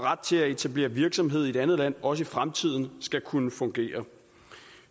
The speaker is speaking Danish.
til at etablere virksomhed i et andet land også i fremtiden skal kunne fungere